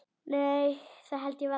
Nei það held ég varla.